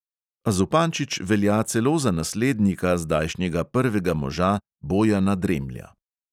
A zupančič velja celo za naslednika zdajšnjega prvega moža bojana dremlja.